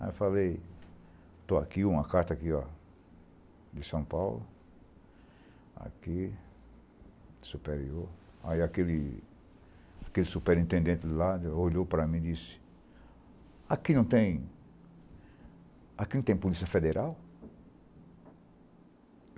Aí eu falei, estou aqui, uma carta aqui ó, de São Paulo, aqui, superior, aí aquele aquele superintendente lá olhou para mim e disse, aqui não tem, aqui não tem polícia federal?